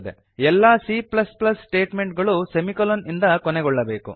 ಎಲ್ಲ C statement ಗಳೂ semicolon ಇಂದ ಕೊನೆಗೊಳ್ಳಬೇಕು